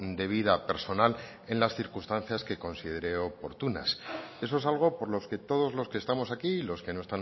de vida personal en las circunstancias que considere oportunas eso es algo por los que todos los que estamos aquí y los que no